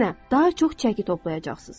Əksinə, daha çox çəki toplayacaqsınız.